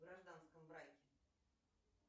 в гражданском браке